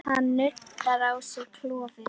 Hann nuddar á sér klofið.